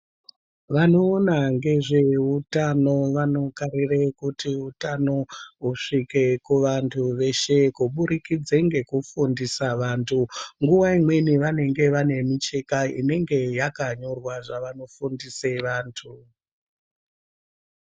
Vanoona ngezveutano vanokarire kuti utano husvike kuvantu veshe kuburikidze nekufundisa vantu. Nguwa imweni vanenge vane micheka yakanyorwa zvavanenge veifundisa vantu.